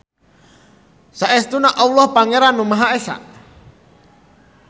Saestuna Alloh Pangeran anu Maha Esa.